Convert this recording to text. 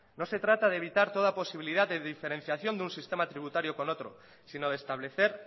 no se trata de evitar toda posibilidad de diferenciación de un sistema tributario con otro sino de establecer